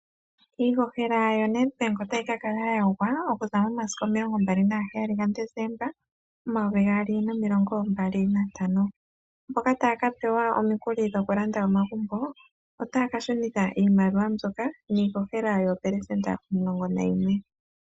Iihohela yoNedbank otayi ka kala ya gwa okuza momasiku 27 gaDesemba 2025. Mboka taya ka pewa omikuli dhokulanda omagumbo, otaya ka shunitha iimaliwa mbyoka niihohela yoopelesenda 11.